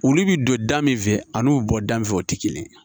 Olu bɛ don da min fɛ a n'u bɛ bɔ da min fɛ o tɛ kelen ye